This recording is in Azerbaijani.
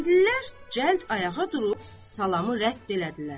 Kəndlilər cəld ayağa durub salamı rədd elədilər.